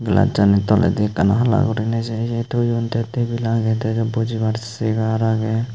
glacchani toledi ekkan hala guriney se ye toyon tey tebil agey tey bujibar che agey.